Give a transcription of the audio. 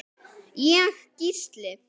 Ég: Gísli.